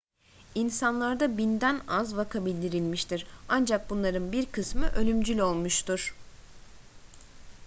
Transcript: i̇nsanlarda binden az vaka bildirilmiştir ancak bunların bir kısmı ölümcül olmuştur